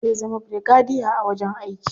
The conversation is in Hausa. Zai zama birigadiya a wajen aiki.